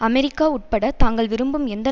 America உட்பட தாங்கள் விரும்பும் எந்த